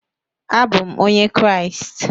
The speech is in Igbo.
Abụ m onye Kraịst